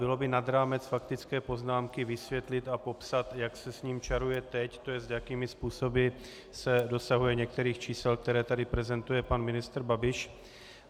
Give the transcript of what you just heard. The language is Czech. Bylo by nad rámec faktické poznámky vysvětlit a popsat, jak se s ním čaruje teď, to jest jakými způsoby se dosahuje některých čísel, které tady prezentuje pan ministr Babiš.